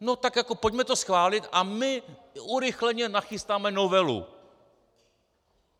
No tak jako pojďme to schválit a my urychleně nachystáme novelu.